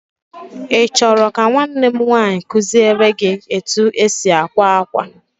Ị chọrọ ka nwanne m nwaanyị kuziele gị etu e si akwa akwa.